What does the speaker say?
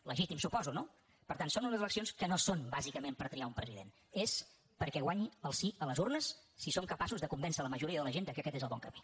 legítim suposo no per tant són unes eleccions que no són bàsicament per triar un president és perquè guanyi el sí a les urnes si som capaços de convèncer la majoria de la gent que aquest és el bon camí